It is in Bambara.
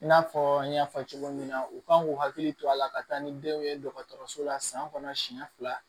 I n'a fɔ n y'a fɔ cogo min na u kan k'u hakili to a la ka taa ni denw ye dɔgɔtɔrɔso la san kɔnɔ siɲɛ fila